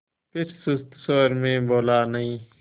फिर सुस्त स्वर में बोला नहीं